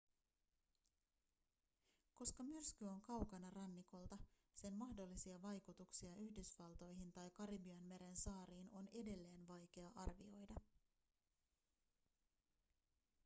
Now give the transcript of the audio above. koska myrsky on kaukana rannikolta sen mahdollisia vaikutuksia yhdysvaltoihin tai karibianmeren saariin on edelleen vaikea arvioida